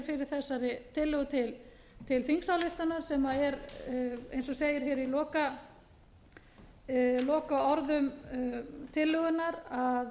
hér fyrir þessari tillögu til þingsályktunar sem er eins og segir í lokaorðum tillögunnar að